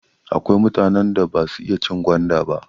Akwai mutanen da basu iya cin gwanda ba.